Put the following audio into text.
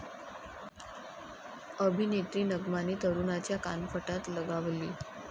अभिनेत्री नग्माने तरुणाच्या कानफटात लगावली